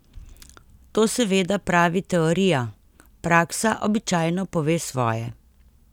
To seveda pravi teorija, praksa običajno pove svoje.